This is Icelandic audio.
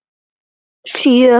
Sjö